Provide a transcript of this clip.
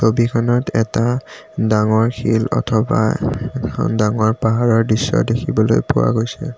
ছবিখনত এটা ডাঙৰ শিল অথবা এখন ডাঙৰ পাহাৰৰ দৃশ্য দেখিবলৈ পোৱা গৈছে।